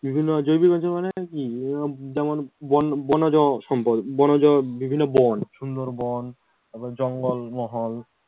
বিভিন্ন জৈবিক অঞ্চল মানে কি, এইরকম যেমন বন বনজ সম্পদ বনজ বিভিন্ন বন সুন্দরবন তারপরে জঙ্গল মহল উম বিভিন্ন মহল।